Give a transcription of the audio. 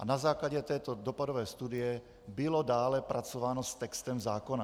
A na základě této dopadové studie bylo dále pracováno s textem zákona.